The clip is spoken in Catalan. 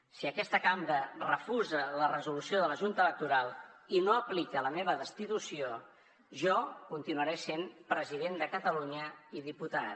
si aquesta cambra refusa la resolució de la junta electoral i no aplica la meva destitució jo continuaré sent president de catalunya i diputat